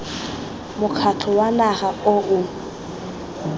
mokgatlho wa naga o o